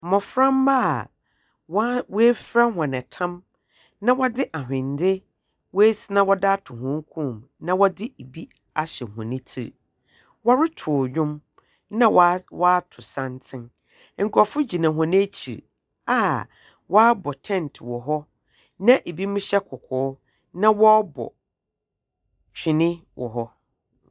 Mmoframa a woafira wɔn ɛtam na wɔde ahwende ato wɔn kɔn mu, na wɔde ebi ahyɛ wɔn ti. Wɔreto ndwom. Na wato santene. Nkorɔfo gyina wɔn akyi a wabɔ tɛnt wɔhɔ. Na ebinom hyɛ kɔkɔɔ na wɔbɔ twene wɔhɔ.